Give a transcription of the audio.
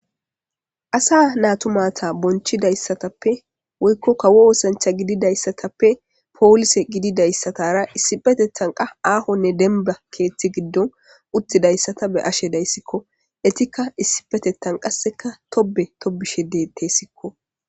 Asa natu maata bonchidaysatappe woyko kawo ossanchatappe polose gididaysara issippe qas ahonne demba keetha gidoni uttidaysa ta be'ashe daysiko. Etika issippetethan tobe tobishe de'etesiko.